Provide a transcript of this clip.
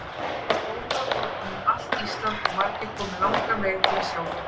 Það var rómað um allt Ísland og margir komu langan veg til að sjá það.